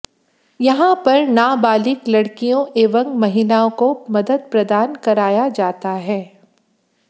यहां पर नाबालिक लड़कियों एवं महिलाओं को मदद प्रदान कराया जाता है